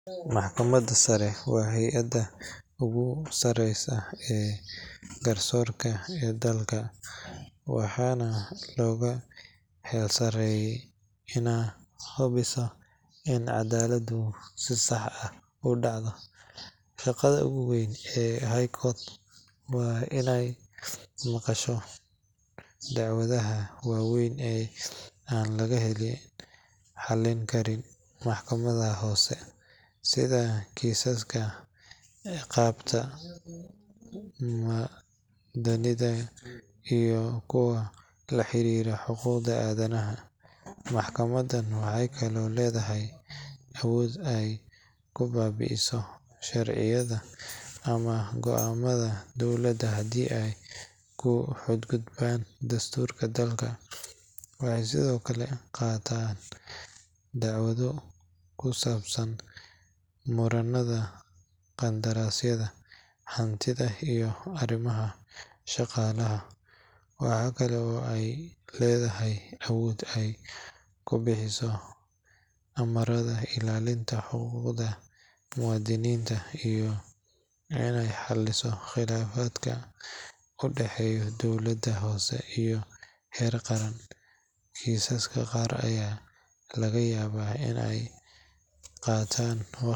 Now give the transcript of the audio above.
Maxkamada sare waa hayada ogu sare ee garsoorka ee dalka waxana loga heer saraye ina hubiso in cadaladu si sax ah inay udhacdo, shaqada ogu weyn ee High Court waa inay maqasho dacwadaha waweyn ee an laga xalin karin maxkamadaha hoose sida kisaska ciqabta muadininta iyo kuwa laxariira xuquqda adanaha, maxkamadan waxay kale oy ledahay awood ay kubaabiiso sharciyada ama goamada dowlada hadaii ay kuxadgudban dhastuurka dalka, waxay sidokale qaatan dacwado kusabsan muranada qandarasyada hantida iyo arimaha shaqalaha, waxakale oy ledahay awood ay kubixiso amarada illalinta xuquqda muadiniinta iyo inay xaliso qilaafadka udhaxeeyo dowlada hoose iyo heer qaran, kisaska qaar aya lagayaba inay qaatan waqti badan